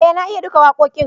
eh na iya duka wakoƙin